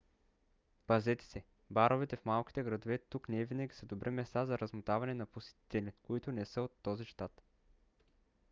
пазете се: баровете в малките градове тук невинаги са добри места за размотаване на посетители които не са от този щат